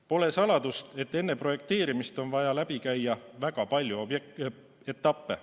Pole saladus, et enne projekteerimist on vaja läbi käia väga palju etappe.